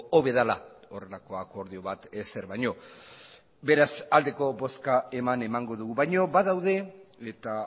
hobe dela horrelako akordio bat ezer baino beraz aldeko bozka eman emango dugu baino badaude eta